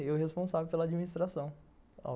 Eu responsável pela administração.